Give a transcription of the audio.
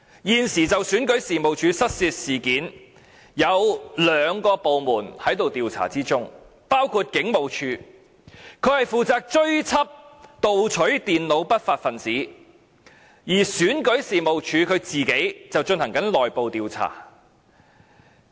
現時，有兩個部門正在調查選舉事務處的失竊事件，包括香港警務處，負責追緝盜取電腦的不法分子，而選舉事務處本身則進行內部調查。